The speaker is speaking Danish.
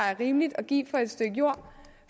er rimeligt at give for et stykke jord